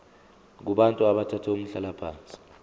kubantu abathathe umhlalaphansi